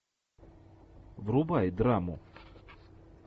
врубай драму